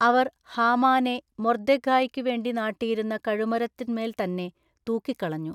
അവർ ഹാമാനെ മൊർദ്ദെഖായിക്കു വേണ്ടി നാട്ടിയിരുന്ന കഴുമരത്തിന്മേൽ തന്നേ തൂക്കിക്കളഞ്ഞു.